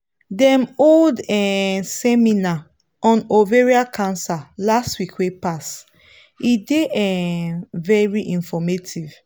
dem hold um seminar on ovarian cancer last week wey pass e dey um very informative